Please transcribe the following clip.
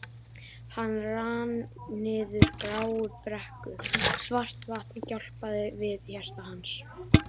Hann rann niður gráa brekku, svart vatnið gjálpaði við hjarta hans.